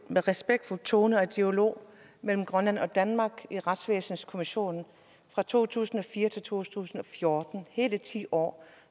en respektfuld tone og dialog mellem grønland og danmark i retsvæsenskommissionen fra to tusind og fire til to tusind og fjorten hele ti år